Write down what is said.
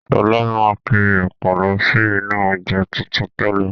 Sọlá máa n kiri ẹ̀pà lọ sí inú ọjà tuntun tẹ́lẹ̀.